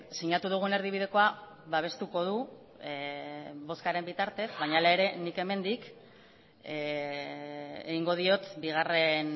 sinatu dugun erdibidekoa babestuko du bozkaren bitartez baina hala ere nik hemendik egingo diot bigarren